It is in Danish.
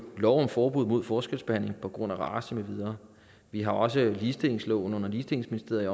lov om forbud mod forskelsbehandling på grund af race med videre vi har også ligestillingsloven under ligestillingsministeriet